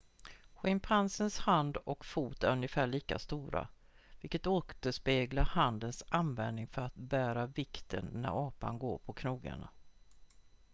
schimpansens hand och fot är ungefär lika stora vilket återspeglar handens användning för att bära vikten när apan går på knogarna